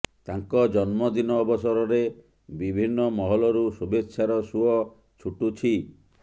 ତାଙ୍କ ଜନ୍ମଦିନ ଅବସରରେ ବିଭିନ୍ନ ମହଲରୁ ଶୁଭେଚ୍ଛାର ସୁଅ ଛୁଟୁଛି